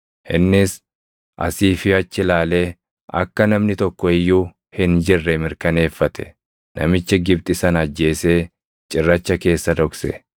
Innis asii fi achi ilaalee akka namni tokko iyyuu hin jirre mirkaneeffate; namicha Gibxi sana ajjeesee cirracha keessa dhokse.